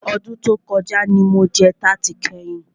Ọdún tí o kọjá ní mo jẹ tarti kẹ́yin.